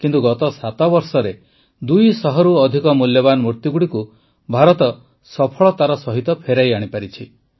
କିନ୍ତୁ ଗତ ସାତବର୍ଷରେ ୨୦୦ରୁ ଅଧିକ ମୂଲ୍ୟବାନ ମୂର୍ତ୍ତିଗୁଡ଼ିକୁ ଭାରତ ସଫଳତାର ସହିତ ଫେରାଇ ଆଣିସାରିଛି